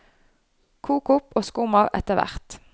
Kok opp og skum av etterhvert.